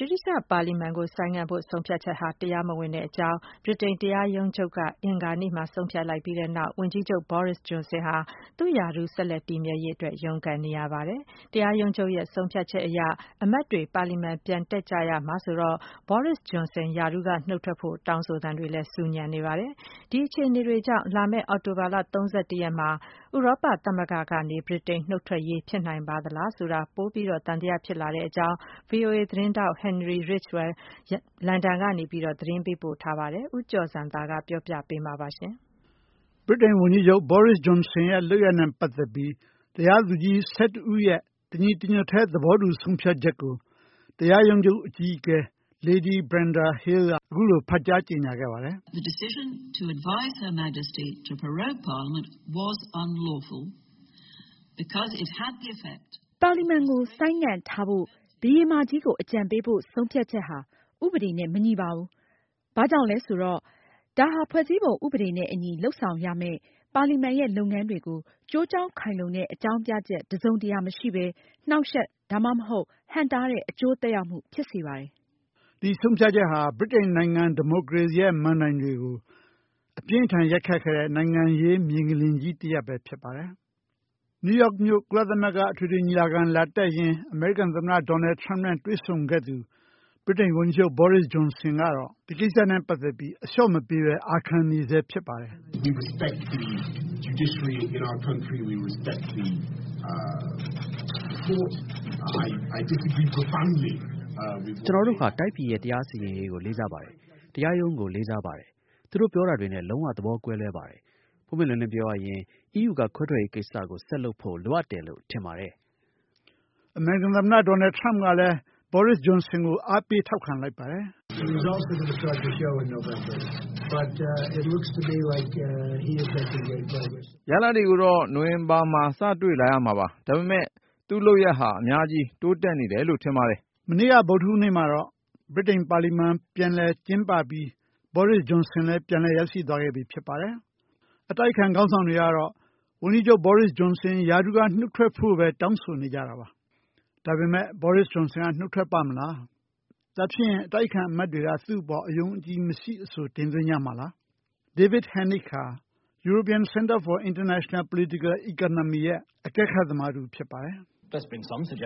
ဗြိတိန်ပါလီမန်ကို ဆိုင်းငံ့ဖို့ ဆုံးဖြတ်ချက်ဟာ တရားမဝင်ဘူးလို့ ဗြိတိန်နိုင်ငံ တရားရုံးချုပ်က အင်္ဂါနေ့မှာဆုံးဖြတ်လိုက်ပြီးတဲ့နောက် ဝန်ကြီးချုပ် Boris Johnson ဟာ သူ့ရာထူး ဆက်လက် တည်မြဲရေးအတွက် ရုန်းကန်နေရပါတယ်။ တရားရုံးချုပ် ဆုံးဖြတ်ချက်အရ အမတ်တွေ ပါလီမန် ပြန်တက်ကြရမှာဆိုတော့ Boris Johnson ရာထူးကနှုတ်ထွက်ဖို့ ဆူညံနေပါတယ်။ ဒီလိုအခြေအနေတွေကြောင့် လာမယ့်အောက်တိုဘာ ၃၁ ရက်နေ့ မှာ ဥရောပသမဂ္ဂက နှုတ်ထွက်ဖို့ကိစ္စ ဖြစ်နိုင်ပါမလားဆိုတာ ပိုပြီးသံယဖြစ်လာရတယ်လို့ VOA သတင်းထောက် Henry Ridgwell လန်ဒန် ကနေ သတင်းပို့ထားပါတယ်။ ဦးကျော်ဇံသာ ပြောပြမှာပါ။ ဗြိတိန် ဝန်ကြီးချုပ် Boris Johnson ရဲ့ လုပ်ရပ်နဲ့ ပတ်သက်ပြီး တရားသူကြီး ၁၁ ဦးရဲ့ တညီတညွတ်တည်း သဘောတူ ဆုံးဖြတ်ချက်ကို တရားရုံးချုပ် အကြီးအကဲ Lady Brenda Hale က အခုလို ဖတ်ကြား ကြေညာခဲ့ပါတယ်။ “ ပါလီမန်ကို ဆိုင်းငံံ့ထားဖို့ ဘုရင်မကြီးကို အကြံပေးဖို့ ဆုံးဖြတ်ချက်ဟာ ဥပဒေနဲ့မညီပါဘူး။ ဒါဟာ ဖွဲ့စည်းပုံဥပဒေနဲ့အညီ လုပ်ဆောင်ရမယ့် ပါလီမန်ရဲ့ လုပ်ငန်းတွေကို ကျိုးကြောင်းခိုင်လုံတဲ့ အကြာင်းပြချက် တစုံတရာမရှိပဲ နှောက်ယှက် ဒါမှမဟုတ် ဟန့်တားတဲ့ အကျိုးသက်ရောက်မှု ဖြစ်စေပါတယ်။ ” ဒီဆုံးဖြတ်ချက်ဟာ ဗြိတိန်နိုင်ငံ ဒီမိုကရေစီရဲ့ မဏ္ဍိုင်တွေကို အပြင်းအထန် ရိုက်ခတ်ခဲ့တဲ့ နိုင်ငံရေး မြေငလျင်ကြီး တရပ်လည်း ဖြစ်ပါတယ်။ နယူးယောက်မြို့ ကုလသမဂ္ဂ အထွေထွေ ညီလာခံ လာတက်ရင်း အမေရိကန် သမ္မတ Donald Trump နဲ့ တွေ့ဆုံခဲ့သူ ဗြိတိန် ဝန်ကြီးချုပ် Boris Johnson ကတော့ ဒီကိစ္စနဲ့ ပတ်သက်ပြီး အလျှော့မပေးဘဲ အာခံနေဆဲ ဖြစ်ပါတယ်။ “ ကျနော်တို့ဟာ တိုင်းပြည်ရဲ့တရားစီရင်ရေးကို လေးစားပါတယ်။ တရားရုံးကိုလေးစားပါတယ်။ သူတို့ပြောတာတွေနဲ့ လုံးဝသဘောကွဲလွဲပါတယ်။ ပွင့်ပွင့်လင်းလင်းပြောရရင် EU ကခွဲထွက်ရေးကိစ္စကို ဆက်လုပ်ဖို့လိုအပ်တယ်လို့ ထင်ပါတယ်။” အမေရိကန် သမ္မတ Donald Trump ကလည်း Boris Johnson ကို အားပေး ထောက်ခံလိုက်ပါတယ်။ “ ရလဒ်တွေကိုတော့ နိုဝင်ဘာမှာ စတွေ့လာရမှာပါ။ ဒါပေမဲ့ လူ့လုပ်ရပ်ဟာ အများကြီး တိုးတက်နေတယ်လို့ထင်ပါတယ်။ ” မနေ့က ဗုဒ္ဓဟူးနေ့မှာတော့ ဗြိတိန် ပါလီမန် ပြန်လည် ကျင်းပပြီး Boris Johnson လည်း ပြန်လည် ရောက်ရှိသွားခဲ့ပြီ ဖြစ်ပါတယ်။ အတိုက်အခံ ခေါင်းဆောင်တွေကတော့ ဝန်ကြီးချုပ် Boris Johnson ရာထူးက နုတ်ထွက်ဖို့ဘဲ တောင်းဆိုနေကြတာပါ။ ဒါပေမယ့် Boris Johnson က နုတ်ထွက်ပါ့မလား၊ ဒါဖြင့်ရင် အတိုက်အခံ အမတ်တွေက သူ့အပေါ် အယုံအကြည်မရှိ အဆို တင်သွင်းကြမှာလား။ David Henig ဟာ European Center for International Political Economy ရဲ့ အကဲခတ်သမား တဦး ဖြစ်ပါတယ်။ “Johnson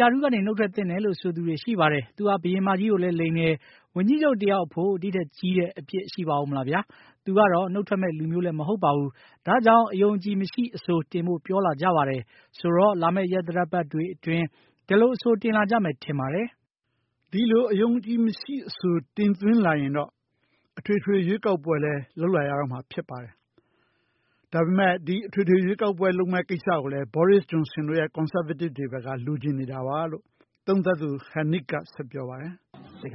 ရာထူးကနုတ်ထွက်သင့်တယ်လို့ ဆိုသူတွေ ရှိပါတယ်။ သူဟာ ဘုရင်မကြီးကို လိမ်တယ်။ ဝန်ကြီးချုပ် တယောက်အဖို့ ဒီထက်ကြီးတဲ့ အပြစ်ရှိအုံးမလားဗျာ၊ သူကတော့ နုတ်ထွက်မယ့် လူမျိုးမဟုတ်ဘူး။ ဒါကြောင့် အယုံအကြည်မရှိအဆို တင်ဖို့ပြောလာကြတယ်။ ဆိုတော့ လာမယ့် ရက်သတ္တပတ်တွေအတွင်း ဒီလိုအဆိုတင်လာကြမယ်ထင်ပါတယ်။” ဒီလို အယုံအကြည်မရှိအဆို တင်လာရင်တော့ အထွေထွေရွေးကောက်ပွဲလည်း လုပ်လာရတော့မှာပါ။ ဒါဟာလဲ Boris Johnson တို့ Conservatives တွေ ဘက်က လိုချင်နေတာလို့ သုံးသပ်သူ Henig က ဆက်ပြောပါတယ်။ “ မဲ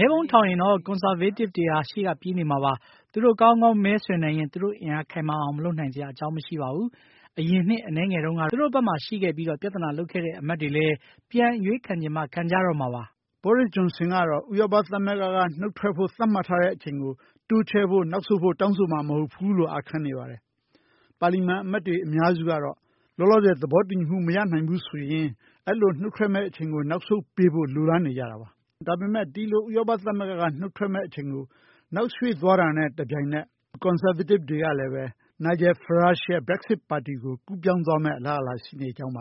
ပုံးထောင်ရင်တော့ Consrvatives ဟာ ရှေ့ကပြေးနေမှာပါ။ သူတို့ ကောင်းကောင်းမဲဆွယ်နိုင်ရင် သူတို့အင်အား ခိုင်မာအောင်မလုပ်နိုင်စရာ အကြောင်းမရှိပါဘူး။ အရင်နှစ်အနည်းငယ်တုံးက သူတို့ဘက်မှာရှိခဲ့ပြီး ပြဿနာလုပ်ခဲ့တဲ့ အမတ်တွေလဲ ပြန်အရွေးခံချင်မှ ခံကြရတော့မှာပါ။” Boris Johnson ကတော့ ဥရောပ သမဂ္ဂ ကနေ နုတ်ထွက်ဖို့ သတ်မှတ်ထားတဲ့ အချိန်ကို တိုးချဲ့ဖို့ နောက်ဆုတ်ဖို့ တောင်းဆိုမှာ မဟုတ်ဘူးလို့ အာခံနေပါတယ်။ ပါလီမန် အမတ်တွေ အများစုကတော့ လောလောဆယ် သဘောတူညီမှု မရနိုင်ဘူးဆိုရင် အဲလို နုတ်ထွက်မယ့် အချိန်ကို နောက်ဆုတ်ပေးဖို့ လိုလားနေကြတာပါ။ ဒါပေမယ့် ဒီလို ဥရောပ သမဂ္ဂက နုတ်ထွက်မယ့် အချိန်ကို နောက်ရွှေ့သွားတာနဲ့ တပြိုင်နက် ကွန်ဆာဗေးတစ်တွေကလည်း Nigel Farage ရဲ့ Brexit ပါတီကို ကူးပြောင်းသွားမယ့် အလားအလာ ရှိနေကြောင်းပါ